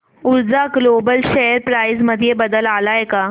ऊर्जा global share price मध्ये बदल आलाय का